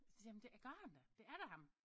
Så siger jeg jamen det gør han da det er da ham